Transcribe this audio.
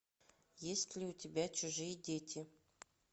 есть ли у тебя чужие дети